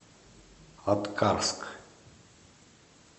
аткарск